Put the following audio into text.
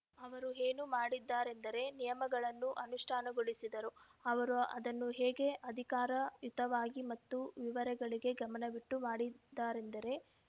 ಅವರು ಏನು ಮಾಡಿದರೆಂದರೆ ನಿಯಮಗಳನ್ನು ಅನುಷ್ಠಾನಗೊಳಿಸಿದರು ಅವರು ಅದನ್ನು ಹೇಗೆ ಅಧಿಕಾರಯುತವಾಗಿ ಮತ್ತು ವಿವರಗಳಿಗೆ ಗಮನವಿಟ್ಟು ಮಾಡಿದರೆಂದರೆ